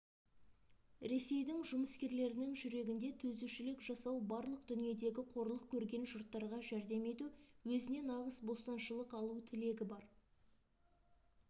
ресейдің жұмыскерлерінің жүрегінде төзушілік жасау барлық дүниедегі қорлық көрген жұрттарға жәрдем ету өзіне нағыз бостаншылық алу тілегі бар